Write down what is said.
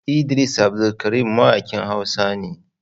Idris Abdulkarim mawakin hausa ne.